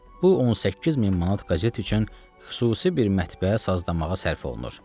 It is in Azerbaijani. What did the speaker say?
bu 18000 manat qəzet üçün xüsusi bir mətbəə sazlamağa sərf olunur.